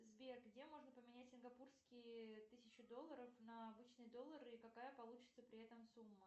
сбер где можно поменять сингапурские тысячу долларов на обычный доллары и какая получится при этом сумма